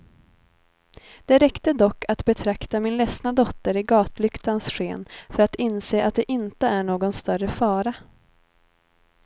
Det räckte dock att betrakta min ledsna dotter i gatlyktans sken för att inse att det inte är någon större fara.